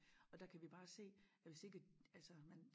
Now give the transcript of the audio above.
Og der kan vi bare se at hvis ikke altså man